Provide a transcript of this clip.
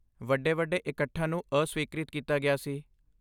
ਵੱਡੇ ਵੱਡੇ ਇਕੱਠਾਂ ਨੂੰ ਅਸਵੀਕ੍ਰਿਤ ਕੀਤਾ ਗਿਆ ਸੀ